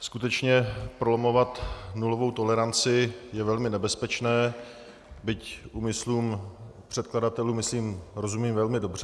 Skutečně, prolamovat nulovou toleranci je velmi nebezpečné, byť úmyslům předkladatelů, myslím, rozumím velmi dobře.